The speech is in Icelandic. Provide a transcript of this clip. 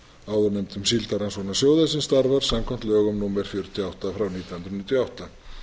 áðurnefndum síldarrannsóknasjóði sem starfar samkvæmt lögum númer fjörutíu og átta nítján hundruð níutíu og átta